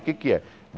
O que é que é?